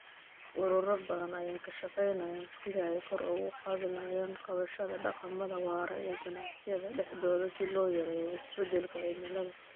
Ururo badan ayaa ka shaqeynaya sidii ay kor ugu qaadi lahaayeen qaadashada dhaqamada waara ee ganacsiyada dhexdooda si loo yareeyo isbedelka cimilada.